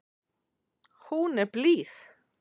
Hún er blíð.